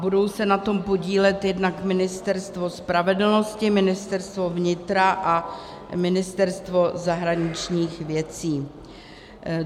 Budou se na tom podílet jednak Ministerstvo spravedlnosti, Ministerstvo vnitra a Ministerstvo zahraničních věcí.